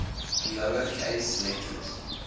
lower case letters